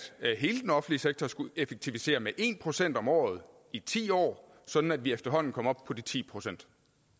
hele den offentlige sektor skulle effektivisere med en procent om året i ti år sådan at vi efterhånden kom op på de ti procent